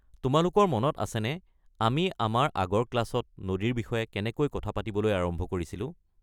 তোমালোকৰ মনত আছেনে আমি আমাৰ আগৰ ক্লাছত নদীৰ বিষয়ে কেনেকৈ কথা পাতিবলৈ আৰম্ভ কৰিছিলোঁ?